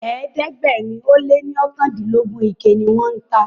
ẹ̀ẹ́dẹ̀gbẹ̀rin o lẹ ní okandilogun ike ní wón tá.